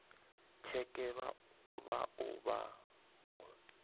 tsheke vha o vha vho